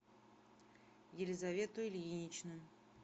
елизавету ильиничну